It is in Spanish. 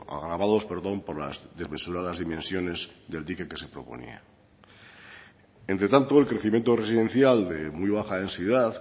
agravados por las desmesuradas dimensiones del dique que se proponía entre tanto el crecimiento residencial de muy baja densidad